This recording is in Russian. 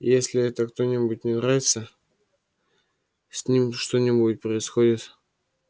если это кто-нибудь не нравится с ним что-нибудь происходит